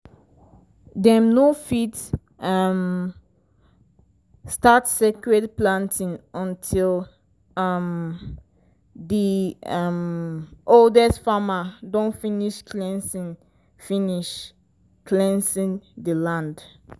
dem no fit um start sacred planting until um di um oldest farmer don finish cleanse finish cleanse di land.